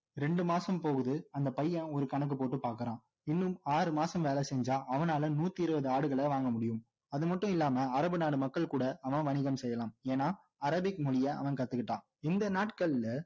ரெண்டு மாசம் போகுது அந்த பையன் ஒரு கணக்கு போட்டு பார்க்குறான் இன்னும் ஆறு மாசம் வேலை செஞா அவனால நூற்று இருபது ஆடுகள வாங்க முடியும் அது மட்டும் இல்லாம அரபு நாடு மக்கள் கூட அவன் வணிகம் செய்யலாம் ஏன்னா அரேபிக் மொழிய அவன் கத்துக்கிட்டான் இந்த நாட்கள்ல